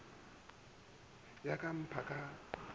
go ya ka pmfa ka